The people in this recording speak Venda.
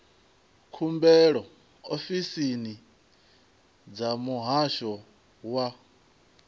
khumbelo ofisini dza muhasho wa